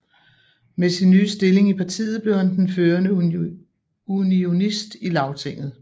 Med sin nye stilling i partiet blev han den førende unionist i Lagtinget